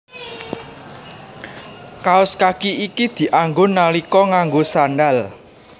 Kaos kaki iki dianggo nalika nganggo sandhal